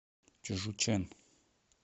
чжучэн